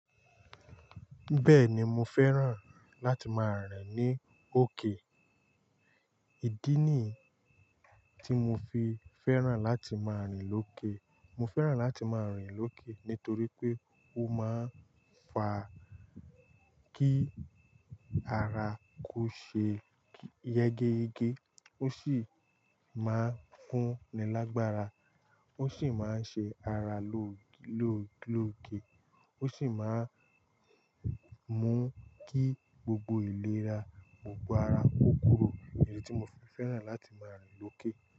Bẹ́ẹ̀ni mo fẹ́ràn láti máa rìn ní òkè. Ìdí ni ti mo fi fẹ́ràn láti máa rìn lókè, mo fẹ́ràn láti máa rìn lókè nítorí pé ó máa ń fa kí ara kó ṣe yegege, ó sì máa ń fún ni lágbára, ó sì máa ń ṣe ara ló-ló-lóge, ó sì máa ń mú kí gbogbo ìlera gbogbo ara ó kúrò. Èyí ti mo fi fẹ́ràn láti máa rìn lókè.